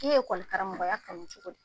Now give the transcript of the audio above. I ye ɛkɔli karamɔgɔya kanu cogo di?